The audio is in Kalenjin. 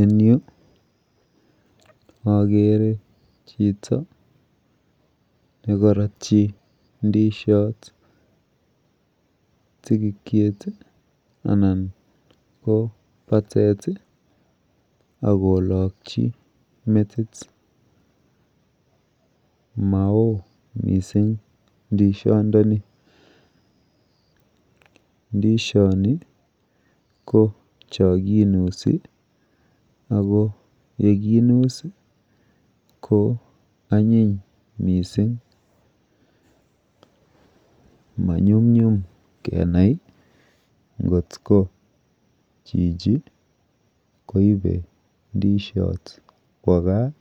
En Yu agere Chito nekaratyi indishot tigikiet anan ko batet akolaki metit Mao mising indishot ndani ndishoni kochakinusi koyekinus kwanyin mising manyun nyum Kenai kotko Chichi koibe indishot Kwa gaa